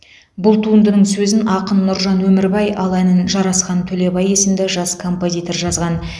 бұл туындының сөзін ақын нұржан өмірбай ал әнін жарасхан төлебай есімді жас композитор жазған